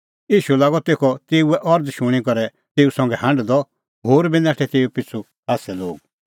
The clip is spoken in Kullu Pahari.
ईशू लागअ तेखअ तेऊए अरज़ शूणीं करै तेऊ संघै हांढदअ होर बी नाठै पिछ़ू खास्सै लोग